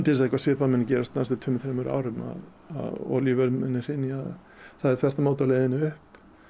þess að eitthvað svipað muni gerast á næstu tveimur til þremur árum að olíuverð muni hrynja það er þvert á móti á leiðinn upp